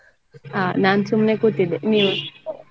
ಹ ನಾನ್ ಸುಮ್ನೆ ಕೂತಿದ್ದೆ ನೀವು?